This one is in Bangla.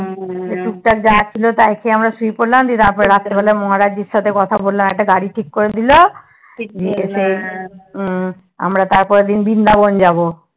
হম টুকটাক যা ছিল তাই খেয়ে আমরা শুয়ে পড়লাম রাত্রে বেলা মহারাজজির এর সাথে কথা বললাম একটা গাড়ি ঠিক করে দিলো আমরা তারপরের দিন বৃন্দাবন যাবো